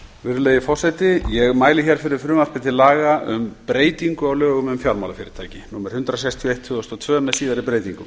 virðulegi forseti ég mæli fyrir frumvarpi til laga um breytingu á lögum um fjármálafyrirtæki númer hundrað sextíu og eitt tvö þúsund og tvö með síðari breytingum